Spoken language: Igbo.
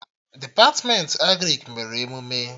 Depatmentị Agrịk mere emụme